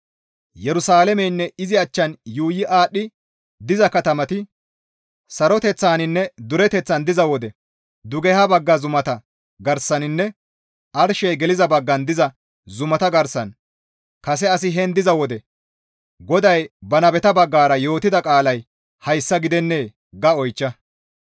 Yerusalaameynne izi achchan yuuyi aadhdhi diza katamati saroteththaninne dureteththan diza wode dugeha bagga zumata garsaninne arshey geliza baggan diza zumata garsan kase asi heen diza wode GODAY ba nabeta baggara yootida qaalay hayssa gidennee?› ga oychcha.»